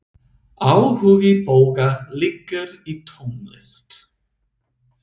Áhugi Boga liggur í tónlist.